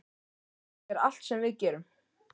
Þannig er allt sem við gerum.